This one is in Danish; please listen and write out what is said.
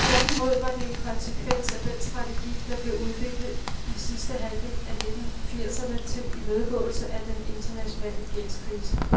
Tværtimod var det en konsekvens af den strategi, der blev udviklet i sidste halvdel af nitten firserne til imødegåelse af den internationale gældskrise.